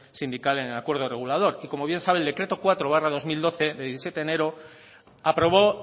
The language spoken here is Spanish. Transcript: sindical en el acuerdo regulador y como bien sabe el decreto cuatro barra dos mil doce de diecisiete de enero aprobó